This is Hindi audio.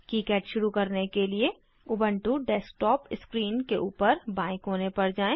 किकाड शुरू करने के लिए उबन्टु डेस्कटॉप स्क्रीन के ऊपर बाएं कोने पर जाएँ